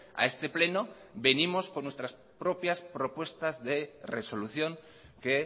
a este pleno venimos con nuestras propias propuestas de resolución que